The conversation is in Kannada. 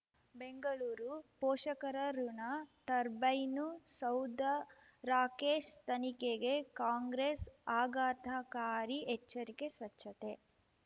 ಬೆಂಗಳೂರು ಪೋಷಕರಋಣ ಟರ್ಬೈನು ಸೌಧ ರಾಕೇಶ್ ತನಿಖೆಗೆ ಕಾಂಗ್ರೆಸ್ ಆಘಾತಕಾರಿ ಎಚ್ಚರಿಕೆ ಸ್ವಚ್ಛತೆ